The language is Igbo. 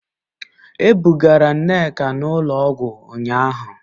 E bugara Nneka n'ụlọọgwụ ụnyahụ